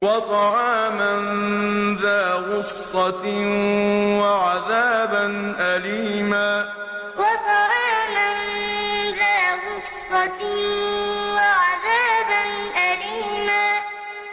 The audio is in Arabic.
وَطَعَامًا ذَا غُصَّةٍ وَعَذَابًا أَلِيمًا وَطَعَامًا ذَا غُصَّةٍ وَعَذَابًا أَلِيمًا